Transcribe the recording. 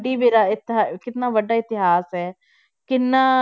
ਦੀ ਵਿਰਾਇਤ ਹੈ ਕਿੰਨਾ ਵੱਡਾ ਇਤਿਹਾਸ ਹੈ ਕਿੰਨਾ